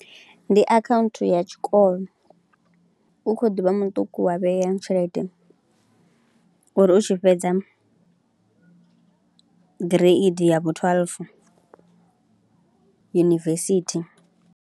Ndi akhaunthu ya tshikolo u kho ḓi vha muṱuku wa vhea tshelede uri u tshi fhedza Gireidi ya vhu thweḽufu yunivesithi.